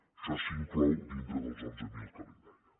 això s’inclou dintre dels onze mil que li deia